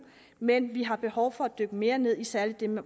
men vi har behov for at dykke mere ned i særlig det med